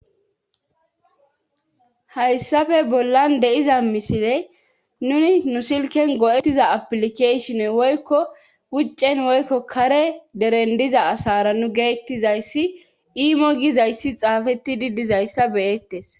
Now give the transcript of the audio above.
hayssafe bollan deiza misile nuni nu silken go7ettiza aplikashone woykko wuccen woykko kare deren diza asara nu geettizayssi iimo gizayssi xaafetidi dizayssa beyettes